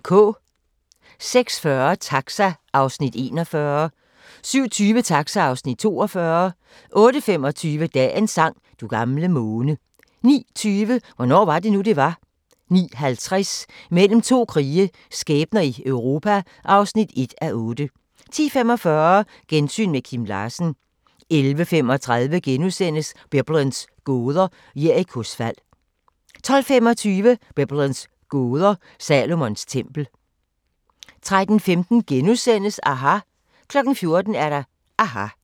06:40: Taxa (Afs. 41) 07:20: Taxa (Afs. 42) 08:25: Dagens sang: Du gamle måne 09:20: Hvornår var det nu, det var? 09:50: Mellem to krige – skæbner i Europa (1:8) 10:45: Gensyn med Kim Larsen 11:35: Biblens gåder – Jerikos fald * 12:25: Biblens gåder – Salomons tempel 13:15: aHA! * 14:00: aHA!